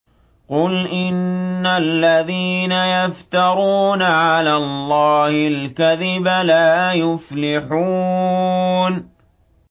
قُلْ إِنَّ الَّذِينَ يَفْتَرُونَ عَلَى اللَّهِ الْكَذِبَ لَا يُفْلِحُونَ